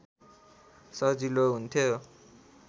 सजिलो हुन्थ्यो